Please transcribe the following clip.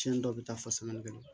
Cɛn dɔw bɛ taa fɔ sani kɛ